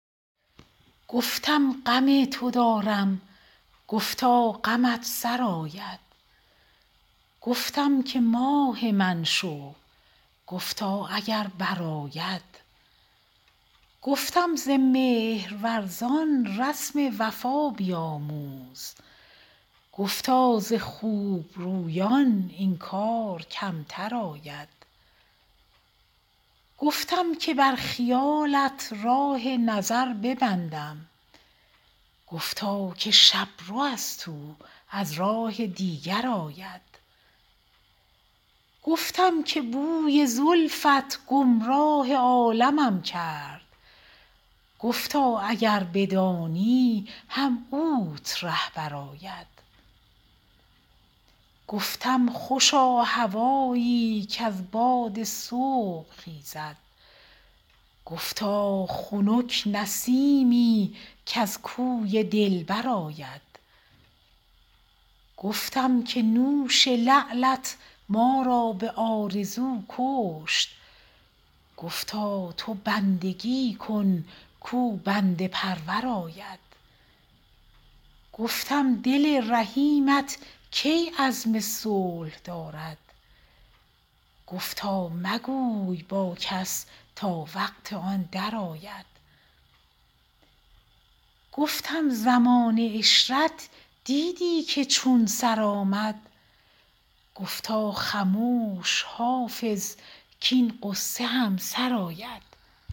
گفتم غم تو دارم گفتا غمت سرآید گفتم که ماه من شو گفتا اگر برآید گفتم ز مهرورزان رسم وفا بیاموز گفتا ز خوب رویان این کار کمتر آید گفتم که بر خیالت راه نظر ببندم گفتا که شب رو است او از راه دیگر آید گفتم که بوی زلفت گمراه عالمم کرد گفتا اگر بدانی هم اوت رهبر آید گفتم خوشا هوایی کز باد صبح خیزد گفتا خنک نسیمی کز کوی دلبر آید گفتم که نوش لعلت ما را به آرزو کشت گفتا تو بندگی کن کاو بنده پرور آید گفتم دل رحیمت کی عزم صلح دارد گفتا مگوی با کس تا وقت آن درآید گفتم زمان عشرت دیدی که چون سر آمد گفتا خموش حافظ کـاین غصه هم سر آید